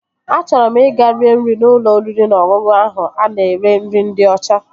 Achọrọ m ị ga-rie nri n'ụlọ oriri na ọṅụṅụ ahụ a na-ere nri ndị ọcha